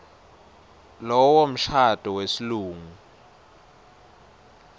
lowo mshado wesilungu